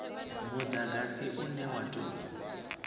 mudagasi une wa u tou